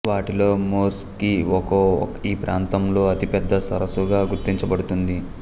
వాటిలో Morskie Oko ఈ ప్రాంతంలో అతిపెద్ద సరసుగా గుర్తించబడుతుంది